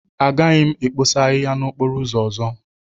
Agaghị m ekposa ahịhịa n'okporo ụzọ ọzọ.